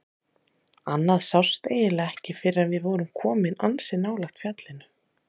Annað sást eiginlega ekki fyrr en við vorum komin ansi nálægt fjallinu.